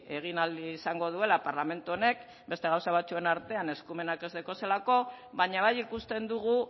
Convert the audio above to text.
egin ahal izango duela parlamentu honek beste gauza batzuen artean eskumenak ez dituelako baina bai ikusten dugu